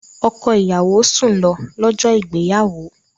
Ọkọ ìyàwó sùn lọ, lọ́jọ́ ìgbéyàwó